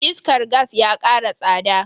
Iskar gas ya kara tsada.